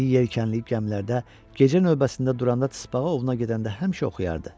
İri yelkənli gəmilərdə gecə növbəsində duranda tıspağa ovuna gedəndə həmişə oxuyardı.